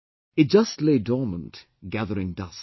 It just lay dormant gathering dust